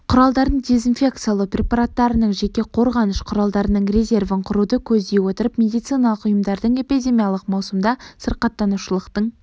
құралдардың дезинфекциялау препараттарының жеке қорғаныш құралдарының резервін құруды көздей отырып медициналық ұйымдардың эпидемиялық маусымда сырқаттанушылықтың